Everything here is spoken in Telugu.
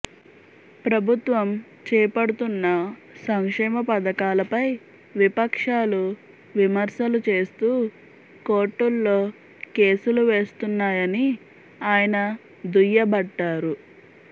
ప్రభుత్వం చేపడుతున్న సంక్షేమ పథకాలపై విపక్షాలు విమర్శలు చేస్తూ కోర్టుల్లో కేసులు వేస్తున్నాయని ఆయన దుయ్యబట్టారు